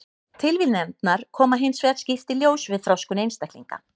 Tilviljanirnar koma hins vegar skýrt í ljós við þroskun einstaklinga.